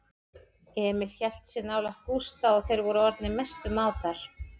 Emil hélt sig nálægt Gústa og þeir voru orðnir mestu mátar.